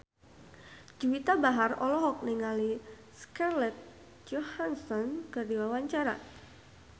Juwita Bahar olohok ningali Scarlett Johansson keur diwawancara